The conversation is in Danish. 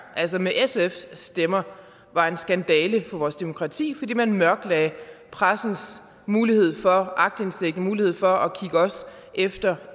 altså med sfs stemmer var en skandale for vores demokrati fordi man mørklagde pressens mulighed for aktindsigt mulighed for at kigge os efter